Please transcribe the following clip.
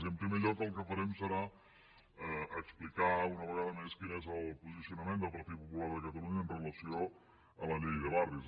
i en primer lloc el que farem serà explicar una vega·da més quin és el posicionament del partit popular de catalunya amb relació a la llei de barris